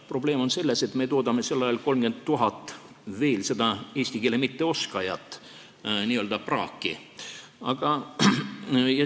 Probleem on selles, et me toodame sel ajal veel 30 000 eesti keele mitteoskajat, n-ö praaki.